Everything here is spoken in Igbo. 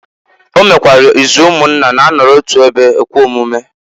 O mekwara izu umunna na-anọrọ otu ebe ekwe omume.